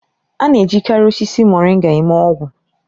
A na-ejikarị osisi Moringa eme ọgwụ.